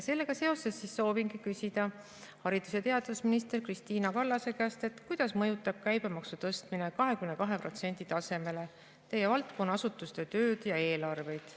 Sellega seoses soovin küsida haridus‑ ja teadusminister Kristina Kallase käest, kuidas mõjutab käibemaksu tõstmine 22% tasemele tema valdkonna asutuste tööd ja eelarveid.